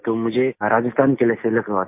तो मुझे राजस्थान के लिए सिलेक्ट हुआ था